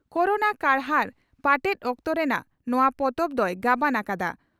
Corona ᱠᱟᱨᱦᱟᱲ ᱯᱟᱴᱮᱫ ᱚᱠᱛᱚ ᱨᱮᱱᱟᱜ ᱱᱚᱣᱟ ᱯᱚᱛᱚᱵ ᱫᱚᱭ ᱜᱟᱵᱟᱱ ᱟᱠᱟᱫᱼᱟ ᱾